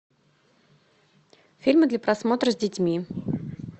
фильмы для просмотра с детьми